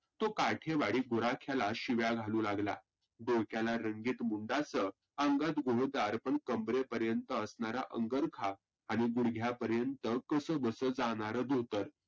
तो काठीवाडी गुराख्याला शिव्या घालू लागला. गोराखाने रंगित बुटासह अंगात घेरदार पण कंबरेपर्यंत असनारा अंगरखा आणि गुढग्या पर्यंत कसं बसं जाणार धोतर.